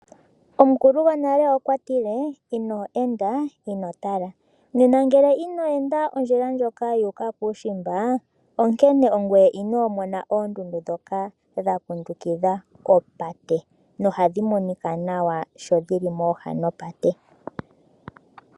Omukulu gwonale okwa tile, " Ino enda ino tala," nena ngele ino enda ondjila ndjoka yuuka kuushimba onkene ongoye inoomona oondundu ndhoka dha kundukidha opate noha dhi monika nawa shodhili mooha dhopate.